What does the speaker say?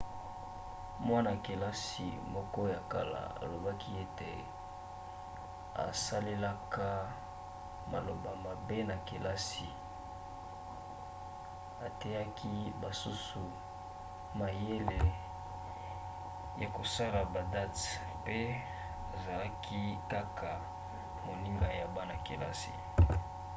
mwana-kelasi moko ya kala alobaki ete 'asalelaka maloba mabe na kelasi ateyaki basusu mayele ya kosala badate mpe azalaki kaka 'moninga' ya bana-kelasi